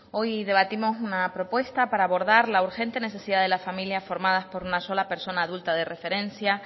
hoy debatimos una propuesta para abordar la urgente necesidad de la familia formadas por una sola persona adulta de referencia